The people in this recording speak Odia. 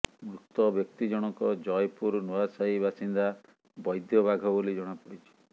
ମୃତ ବ୍ୟକ୍ତି ଜଣକ ଜୟପୁର ନୂଆସାହି ବାସିନ୍ଦା ବୈଦ୍ୟ ବାଘ ବୋଲି ଜଣାପଡିଛି